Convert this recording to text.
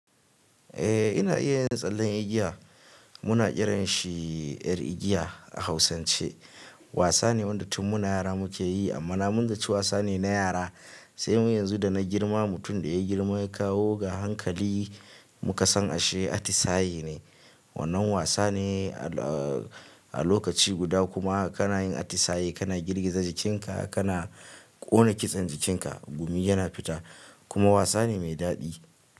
Eh ina iya yi da tsallen igiya. Muna kiran shi yar igiya a Hausance. Wasane wanda tun muna yara muke yi amma na manta cewa wasane na yara sai mu yanzu da na girma mutum da ya girma ya kawo ga hankali muka san ashe atisaye ne. Wannan wasane a lokaci guda kuma kana yin atisaye kana girgiza jikinka kana ƙona kitsen jikinka, gumi yana fita kuma wasane mai daɗi.